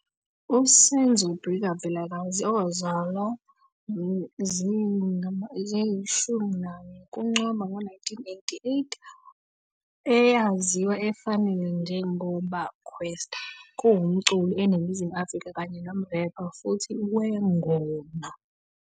USenzo Brikka Vilakazi, owazalwa 11 Ncwaba 1988, eyaziwa efanele njengoba Kwesta, kuwumculi eNingizimu Afrika kanye nomrephi futhi wengoma.